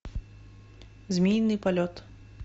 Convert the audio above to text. змеиный полет